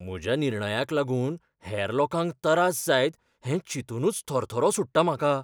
म्हज्या निर्णयाक लागून हेर लोकांक तरास जायत हें चिंतूनच थरथरो सुट्टा म्हाका.